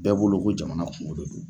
Bɛɛ bolo ko jamana kungo de do.